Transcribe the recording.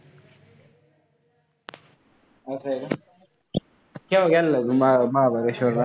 असं आहे का? तू केंव्हा गेला होतास महाबळेश्वरला?